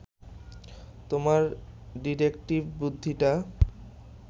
তোমার ডিটেকটিভ বুদ্ধিটা